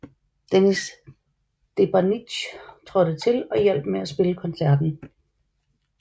Dennis Debannic trådte til og hjalp med at spille koncerten